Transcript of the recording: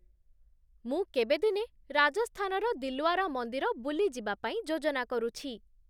ମୁଁ କେବେ ଦିନେ ରାଜସ୍ଥାନର ଦିଲ୍ୱାରା ମନ୍ଦିର ବୁଲି ଯିବାପାଇଁ ଯୋଜନା କରୁଛି